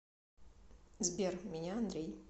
сбер меня андрей